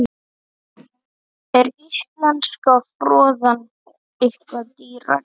Er íslenska froðan eitthvað dýrari?